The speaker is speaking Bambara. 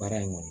Baara in kɔnɔ